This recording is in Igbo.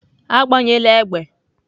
Agbanyela egbe!